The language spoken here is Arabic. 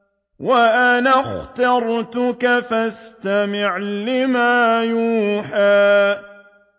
وَأَنَا اخْتَرْتُكَ فَاسْتَمِعْ لِمَا يُوحَىٰ